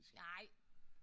Nej